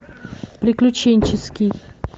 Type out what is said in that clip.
приключенческий